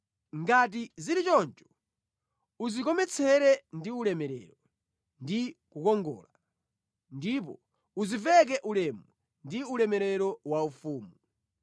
Ngati zili choncho udzikometsere ndi ulemerero ndi kukongola, ndipo udziveke ulemu ndi ulemerero waufumu.